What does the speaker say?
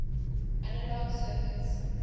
analog circuits